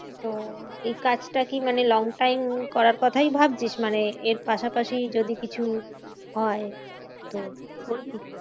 তো এই কাজ টা কি মানে long time করার কোথাই ভাবছিস? মানে এর পাশাপাশি যদি কিছু হয় তো করবি?